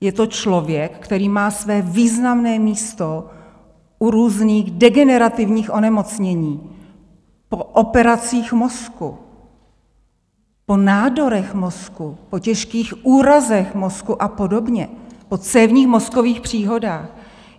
Je to člověk, který má své významné místo u různých degenerativních onemocnění, po operacích mozku, po nádorech mozku, po těžkých úrazech mozku a podobně, po cévních mozkových příhodách.